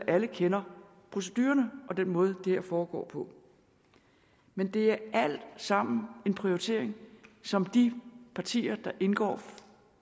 alle kender procedurerne og den måde det her foregår på men det er alt sammen en prioritering som de partier der indgår